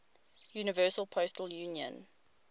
universal postal union